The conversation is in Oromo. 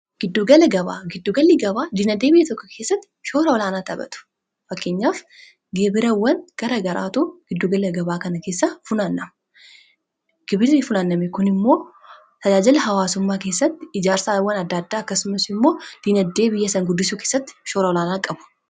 Giddugala gabaa: giddugalli gaba diinagdee biyya tokkoo kessatti shoora olaana taphatu fakkeenyaaf gibrawwan gara garaatu giddugala gabaa kana keessaa funaanama gibirri funaaname kun immoo tajajala hawaasummaa kessatti ijaarsawan adda addaa akkasumas immoo diinagdee biyyaa san guddisuu keesatti shoora olaanaa qabu.